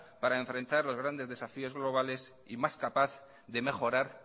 para enfrentar los grandes desafíos globales y más capaz de mejorar